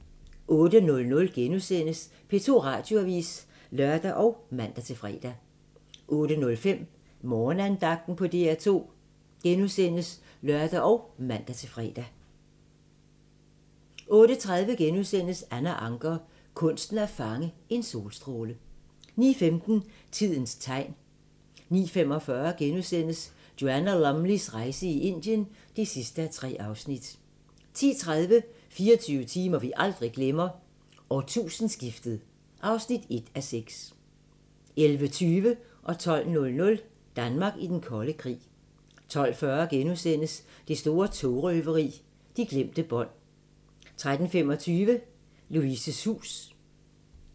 08:00: P2 Radioavis *(lør og man-fre) 08:05: Morgenandagten på DR2 *(lør og man-fre) 08:30: Anna Ancher – kunsten at fange en solstråle * 09:15: Tidens tegn 09:45: Joanna Lumleys rejse i Indien (3:3)* 10:30: 24 timer, vi aldrig glemmer: Årtusindeskiftet (1:8) 11:20: Danmark i den kolde krig 12:00: Danmark i den kolde krig 12:40: Det store togrøveri – de glemte bånd * 13:25: Louises hus